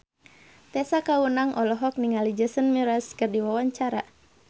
Tessa Kaunang olohok ningali Jason Mraz keur diwawancara